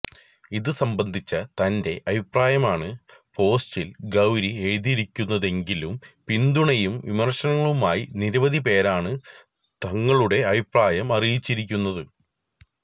ഇതുസംബന്ധിച്ച തന്റെ അഭിപ്രായമാണ് പോസ്റ്റില് ഗൌരി എഴുതിയിരിക്കുന്നതെങ്കിലും പിന്തുണയും വിമര്ശനങ്ങളുമായി നിരവധി പേരാണ് തങ്ങളുടെ അഭിപ്രായം അറിയിച്ചിരിക്കുന്നത്